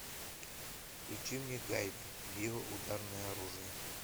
включи мне гайвер био ударное оружие